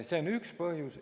See on üks põhjus.